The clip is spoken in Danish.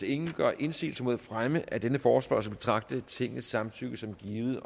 ingen gør indsigelse mod fremme af denne forespørgsel betragte tingets samtykke som givet